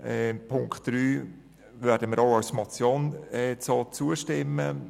Punkt 3 werden wir auch als Motion zustimmen.